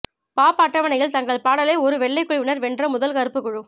pop அட்டவணையில் தங்கள் பாடலை ஒரு வெள்ளைக் குழுவினர் வென்ற முதல் கருப்புக் குழு